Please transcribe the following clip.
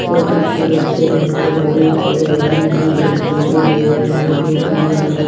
और कुछ कुड़ा कचड़ा भी पड़ा बहोत सारे आदमी जो सेल्फी ले रहे हैं व फोटो ले रहे--